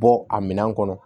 Bɔ a minɛn kɔnɔ